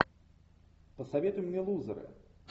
посоветуй мне лузеры